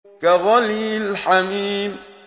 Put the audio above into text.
كَغَلْيِ الْحَمِيمِ